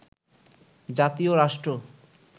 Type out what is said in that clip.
জাতি ও রাষ্ট্র